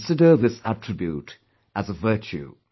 I consider this attribute as a virtue